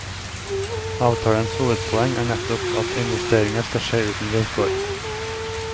Avtalens hovedpoeng er nettopp at investeringer skal skje uten vilkår.